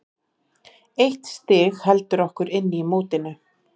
Eitt stig heldur okkur inn í mótinu.